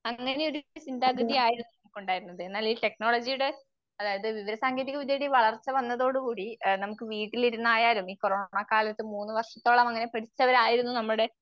അങ്ങനെ ഒരു ചിന്താഗതി ആയിരുന്നു നമുക്കുണ്ടായിരുന്നത്. എന്നാൽ ഈ ടെക്നോളജിയുടെ അതായത് വിവരസാങ്കേതികവിദ്യയുടെ വളർച്ച വന്നതോടുകൂടി എഹ് നമുക്ക് വീട്ടിലിരുനായാലും ഈ കൊറോണക്കാലത്ത് മൂന്നുവർഷത്തോളം അങ്ങനെ പിടിച്ചവരായിരുന്നു നമ്മുടെ